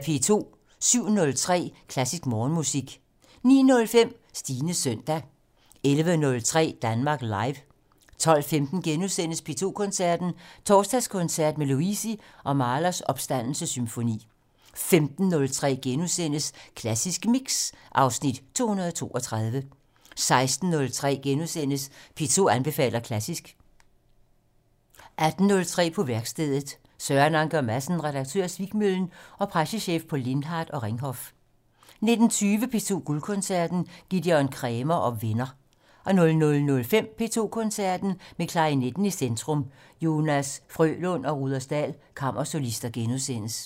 07:03: Klassisk Morgenmusik 09:05: Stines søndag 11:03: Danmark Live 12:15: P2 Koncerten - Torsdagskoncert med Luisi og Mahlers Opstandelsessymfoni * 15:03: Klassisk Mix (Afs. 232)* 16:03: P2 anbefaler klassisk * 18:03: På værkstedet - Søren Anker Madsen, Redaktør af Svikmøllen og pressechef på Lindhardt og Ringhof 19:20: P2 Guldkoncerten - Gidon Kremer og venner 00:05: P2 Koncerten - Med klarinetten i centrum: Jonas Frølund og Rudersdal Kammersolister *